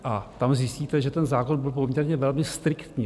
A tam zjistíte, že ten zákon byl poměrně velmi striktní.